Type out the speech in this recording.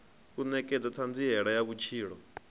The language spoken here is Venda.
u nekedza thanziela ya vhutshilo